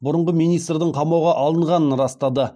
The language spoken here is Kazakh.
бұрынғы министрдің қамауға алынғанын растады